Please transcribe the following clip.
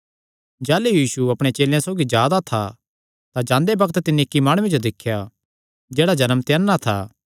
जाह़लू यीशु अपणे चेलेयां सौगी जा दा था तां जांदे बग्त तिन्नी इक्की माणुये जो दिख्या जेह्ड़ा जन्म ते अन्ना था